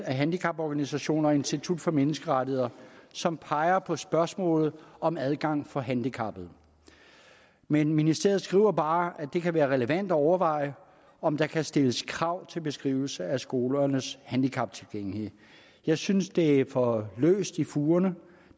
handicaporganisationer og institut for menneskerettigheder som peger på spørgsmålet om adgang for handicappede men ministeriet skriver bare at det kan være relevant at overveje om der kan stilles krav til beskrivelse af skolernes handicaptilgængelighed jeg synes det er for løst i fugerne